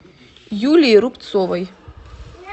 юлии рубцовой